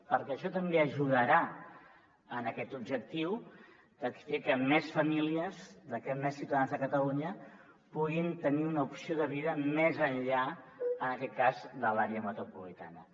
perquè això també ajudarà en aquest objectiu a fer que més famílies que més ciutadans de catalunya puguin tenir una opció de vida més enllà en aquest cas de l’àrea metropolitana